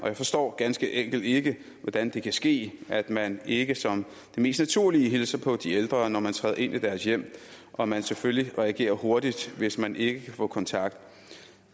jeg forstår ganske enkelt ikke hvordan det kan ske at man ikke som det mest naturlige hilser på de ældre når man træder ind i deres hjem og at man selvfølgelig reagerer hurtigt hvis man ikke kan få kontakt